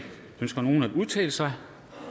ønsker nogen at udtale sig